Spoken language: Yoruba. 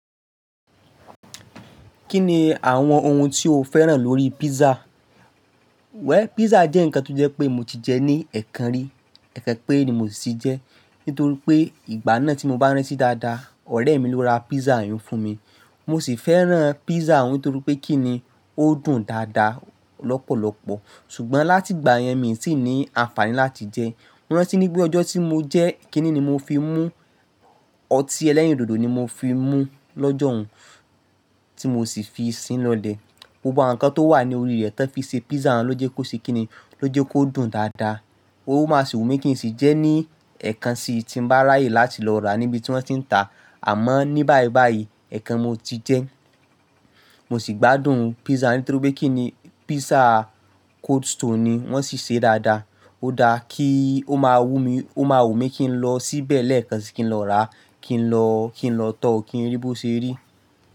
Kí ni àwọn ohun tí o fẹ́ràn lórí pizza? Well pizza jẹ́ ǹkan tó jẹ́ pé mo ti jẹ ní ẹ̀ẹ̀kan rí, ẹ̀ẹ̀kan péré ni mo sì jẹ ẹ́. Nítorí pé ìgbà náà tí mo bá rántí dáadáa, ọ̀rẹ́ mi ló ra pizza yẹn fún mi. Mo sì fẹ́ràn pizza òun nítorí pé kí ni ó dùn dáadáa lọ́pọ̀lọpọ̀. Ṣùgbọ́n láti ìgbà yẹn mi tì ní àǹfààní láti jẹ ẹ́. Mo rántí ní pé ọjọ́ tí mo jẹ ẹ́, kí ni mo fi mú ọtí ẹlẹ́rìndòdò ni mo fi mú lọ́jọ́ ọ̀ún tí mo sì fi sínú ilẹ̀. Gbogbo àwọn ǹkan tó wà ní orí rẹ̀ tí wọ́n fi ṣe pizza ló jẹ́ kó ṣe kí ni, ló jẹ́ kó dùn dáadáa. Ó máa sì wù mí kí n sì jẹ ẹ́ ní ẹ̀ẹ̀kan sì tí ń bá ráyè láti lọ rà á níbi tí wọ́n ti ń tà á. Àmọ́ ní báyìí báyìí, ẹ̀ẹ̀kan mo ti jẹ ẹ́. Mo sì gbádùn pizza nítorí pé kí ni pizza Cold Stone ni wọ́n sì se dáadáa. Ó dáa kí ó máa wú mi, ó máa wù mí kí n lọ síbẹ̀ lẹ́ẹ̀kan sì kí n lọ rà á, kí n lọ, kí n lọ tọ́ọ kí n rí bó se rí.